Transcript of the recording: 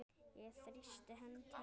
Ég þrýsti hönd Helga.